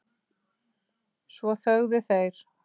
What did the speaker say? Svo þögðu þeir.